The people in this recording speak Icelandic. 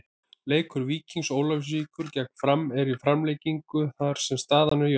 Leikur Víkings Ólafsvíkur gegn Fram er í framlengingu þar sem staðan er jöfn.